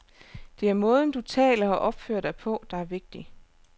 Det er måden, du taler og opfører dig på, der er vigtig.